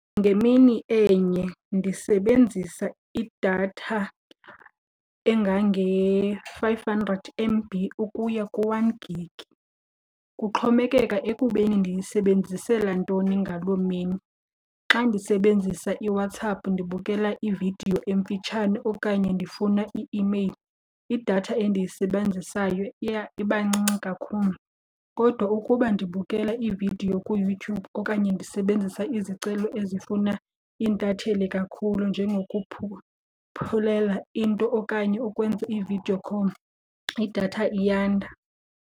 Ngemini enye ndisebenzisa idatha engange-five hundred M_B ukuya ku-one gig. Kuxhomekeka ekubeni ndiyisebenzisela ntoni ngaloo mini. Xa ndisebenzisa iWhatsApp ndibukela ividiyo emfitshane okanye ndifuna i-imeyili, idatha endiyisebenzisayo iya iba ncinci kakhulu. Kodwa ukuba ndibukela ividiyo kuYouTube okanye ndisebenzisa izicelo ezifuna iintatheli kakhulu into okanye ukwenza i-video call idatha iyanda.